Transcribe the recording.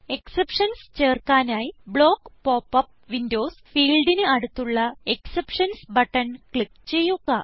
exceptions ചേർക്കാനായി block pop up windows ഫീൽഡിന് അടുത്തുള്ള എക്സെപ്ഷൻസ് ബട്ടൺ ക്ലിക്ക് ചെയ്യുക